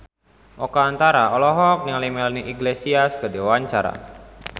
Oka Antara olohok ningali Melanie Iglesias keur diwawancara